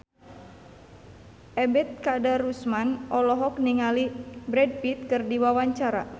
Ebet Kadarusman olohok ningali Brad Pitt keur diwawancara